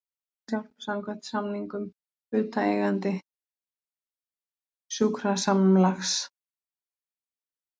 Læknishjálp samkvæmt samningum hlutaðeigandi sjúkrasamlags.